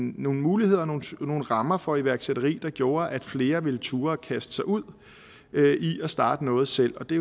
nogle muligheder nogle rammer for iværksætteri der gjorde at flere ville turde kaste sig ud i at starte noget selv og det